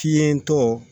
Fiɲɛ tɔ